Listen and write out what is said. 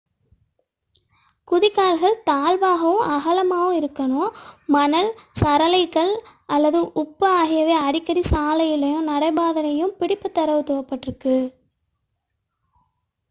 குதி கால்கள் தாழ்வாகவும் அகலமாகவும் இருக்க வேண்டும். மணல் சரளைக் கள் அல்லது உப்பு கால்ஸியம் க்லோரைட் ஆகியவை அடிக்கடி சாலையிலும் நடை பாதையிலும் பிடிப்பு தரத் தூவப்படுகின்றன